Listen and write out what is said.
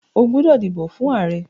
O gbódò dìbò fún ààrẹ!